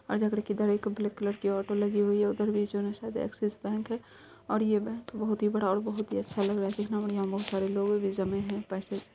और जा कर के इधर एक ब्लैक कलर की ओटो लगी हुई है उधर शायद एक्सिस बैंक है और ये बैंक बहुत ही बड़ा और बहुत ही अच्छा लग रहा है कितना बढ़ियां बहुत सारे लोग भी जमें हैं पैसे।